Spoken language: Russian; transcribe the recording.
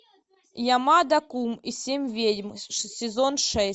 ямада кун и семь ведьм сезон шесть